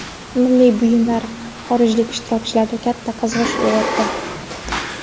Milliy buyumlar xorijlik ishtirokchilarda katta qiziqish uyg‘otdi.